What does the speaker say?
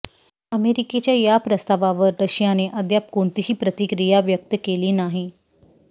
अमेरिकेच्या या प्रस्तावावर रशियाने अद्याप कोणतीही प्रतिक्रिया व्यक्त केली नाही